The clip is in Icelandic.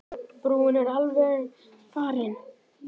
Brúin er alveg farin.